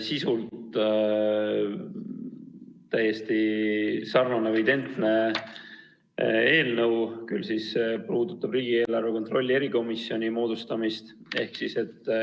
Sisult täiesti sarnane või identne eelnõu, mis aga puudutab riigieelarve kontrolli erikomisjoni moodustamist.